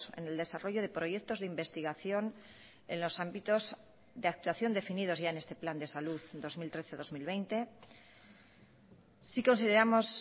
en el desarrollo de proyectos de investigación en los ámbitos de actuación definidos ya en este plan de salud dos mil trece dos mil veinte sí consideramos